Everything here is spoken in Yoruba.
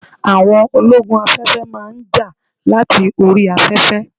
Àwọn ológun afẹ́fẹ́ máa ń jà láti orí afẹ́fẹ́